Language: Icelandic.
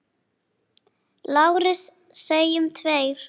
LÁRUS: Segjum tveir!